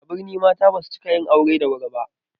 A birni mata basu cika yin aure da wuri ba